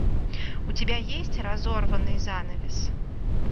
у тебя есть разорванный занавес